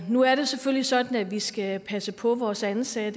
nu er det selvfølgelig sådan at vi skal passe på vores ansatte